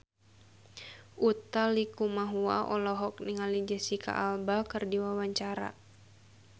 Utha Likumahua olohok ningali Jesicca Alba keur diwawancara